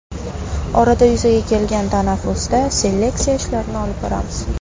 Orada yuzaga kelgan tanaffusda seleksiya ishlarini olib boramiz.